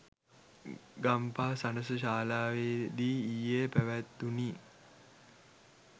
ගම්පහ සණස ශාලාවේදී ඊයේ පැවැත්වුණි.